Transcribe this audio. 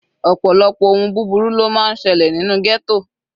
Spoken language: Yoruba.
Ọ̀pọ̀lọpọ̀ ohun búburú ló máa ń selẹ̀ nínú ghetto.